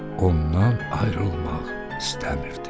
Ondan ayrılmaq istəmirdi.